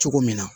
Cogo min na